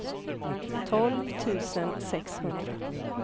tolv tusen sexhundra